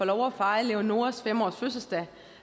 lov at fejre leonoras fem års fødselsdag